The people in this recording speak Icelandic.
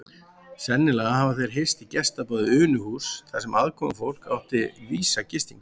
Sennilega hafa þeir hist í gestaboði Unuhúss þar sem aðkomufólk átti vísa gistingu.